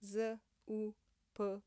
Zupan.